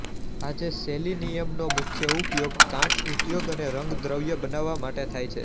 આજે સેલિનીયમનો મુખ્ય ઉપયોગ કાંચ ઉદ્યોગ અને રંગ દ્રવ્ય બનાવવા માટૅ થાય છે